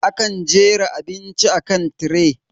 Akan jera abinci akan tiray.